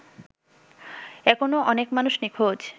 এখনো অনেক মানুষ নিঁখোজ